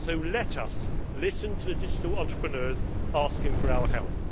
Let us listen to the digital entrepreneurs asking for our help.